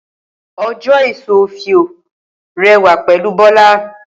Oje eso ofio rẹ wa pẹlu Bola.